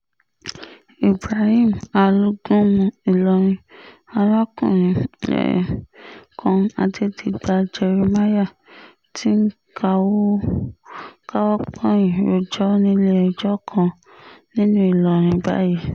ibrahim alágúnmu ìlọrin arákùnrin um kan adẹ́digba jerimáyà ti ń káwọ́ um pọ̀nyìn rojọ́ nílé-ẹjọ́ kan nílùú ìlọrin báyìí